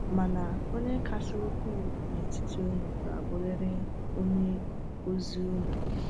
Mana onye kasị ukwuu n’etiti unu ga-abụrịrị onye ozi unu.